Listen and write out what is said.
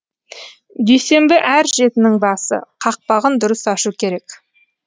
дүйсенбі әр жетінің басы қақпағын дұрыс ашу керек